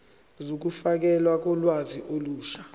zokufakelwa kolwazi olusha